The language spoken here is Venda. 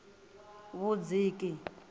vhudziki